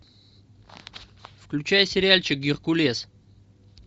включай сериальчик геркулес